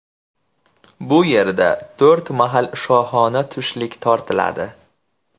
Bu yerda to‘rt mahal shohona tushlik tortiladi.